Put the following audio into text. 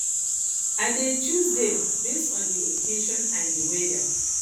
i dey choose dem base on di occasion and di weather